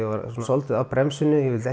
svolítið á bremsunni ég vildi